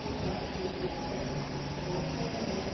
के पास में एक ट्रैक्टर है।